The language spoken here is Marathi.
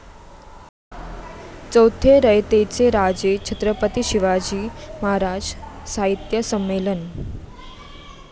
चौथे रयतेचे राजे छत्रपती शिवाजी महाराज साहित्य संमेलन